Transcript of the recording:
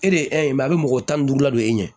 E de ye a bɛ mɔgɔ tan ni duuru labɔ e ɲɛ